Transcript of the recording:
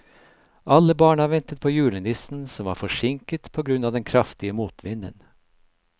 Alle barna ventet på julenissen, som var forsinket på grunn av den kraftige motvinden.